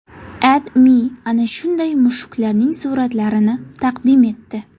AdMe ana shunday mushuklarning suratlarini taqdim etdi .